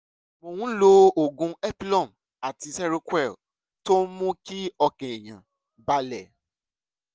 mo ń lo oògùn epilum àti seroquel tó ń mú kí ọkàn èèyàn balẹ̀